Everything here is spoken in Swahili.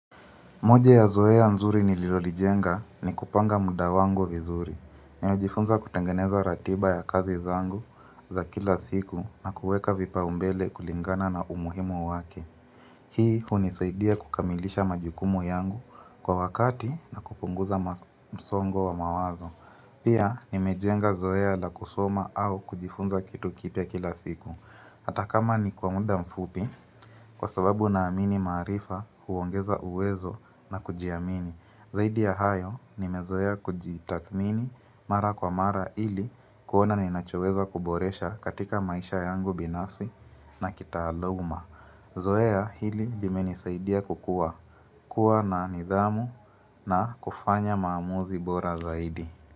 Moja ya zoe ya nzuri nililolijenga ni kupanga muda wango vizuri. Ninajifunza kutengeneza ratiba ya kazi zangu za kila siku na kuweka vipau mbele kulingana na umuhimu wake. Hii hunisaidia kukamilisha majukumu yangu kwa wakati na kupunguza msongo wa mawazo. Pia nimejenga zoea la kusoma au kujifunza kitu kipya kila siku. Hata kama ni kwa muda mfupi kwa sababu na amini maarifa huongeza uwezo na kujiamini. Zaidi ya hayo nimezoea kujitathmini mara kwa mara ili kuona ninachoweza kuboresha katika maisha yangu binafsi na kitaaluma. Zoea hili limenisaidia kukua, kuwa na nidhamu na kufanya maamuzi bora zaidi.